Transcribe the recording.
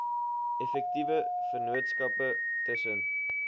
effektiewe vennootskappe tussen